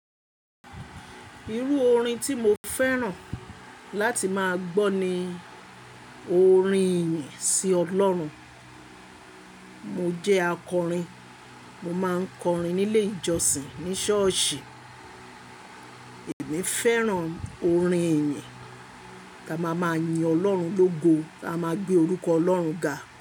Irú orin tí mo fẹ́ràn láti máa gbọ́ ni orin ìyìn sí Ọlọ́run. Mo jẹ́ akọrin, mo máa ń kọrin nílé ìjọsìn, ní ṣọ́ọ̀ṣì. Èmi fẹ́ràn orin ìyìn, ká máa máa yin Ọlọ́run lógo, á máa gbé orúkọ Ọlọ́run ga.